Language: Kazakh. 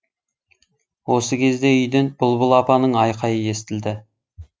осы кезде үйден бұлбұл апаның айқайы естілді